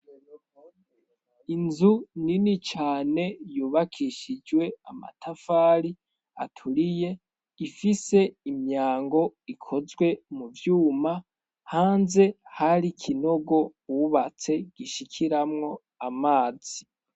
Inzu nini cane yubakishijwe amatafari aturiye ifise imyango ikozwe mu vyuma hanze hari ikinogo ubatse gishikiramwo amazi.